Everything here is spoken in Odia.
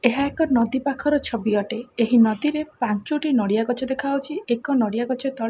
ଏହା ଏକ ନଦୀ ପାଖର ଛବି ଅଟେ ଏହି ନଦୀରେ ପାଞ୍ଚୋଟି ନଡିଆ ଗଛ ଦେଖାଯାଉଛି ଏକ ନଡିଆ ଗଛ ତଳେ।